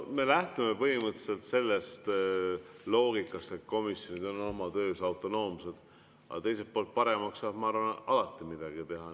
Me lähtume põhimõtteliselt sellest loogikast, et komisjonid on oma töös autonoomsed, aga teiselt poolt, paremaks saab alati midagi teha.